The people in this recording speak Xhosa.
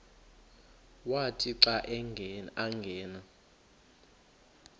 wathi xa angena